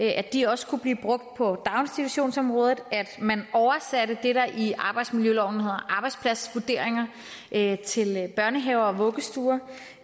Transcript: at de også kunne blive brugt på daginstitutionsområdet at man oversatte det der i arbejdsmiljøloven hedder arbejdspladsvurderinger til børnehaver og vuggestuer